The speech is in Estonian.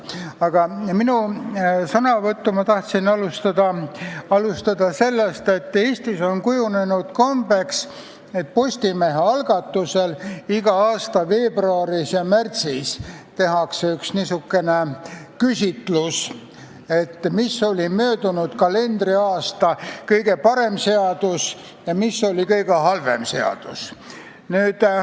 Aga sõnavõttu tahtsin ma alustada sellest, et Eestis on kujunenud kombeks, et Postimehe algatusel tehakse iga aasta veebruaris ja märtsis üks küsitlus, mis oli möödunud kalendriaasta kõige parem seadus ja mis oli kõige halvem seadus.